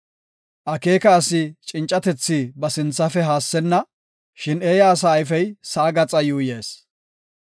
Akeeka asi cincatethi ba sinthafe haassenna; shin eeya asa ayfey sa7a gaxa yuuyees.